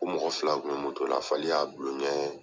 Ko mɔgɔ fila kun bɛ moto la, fali y'a dulon kɛ